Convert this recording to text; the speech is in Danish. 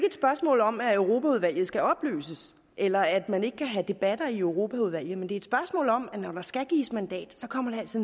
et spørgsmål om at europaudvalget skal opløses eller at man ikke kan have debatter i europaudvalget men det er et spørgsmål om at når der skal gives mandat kommer det altså